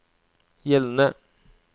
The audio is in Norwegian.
gjeldende